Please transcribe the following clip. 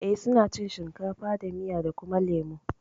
Eh suna cin shinkafa da miya da kuma lemo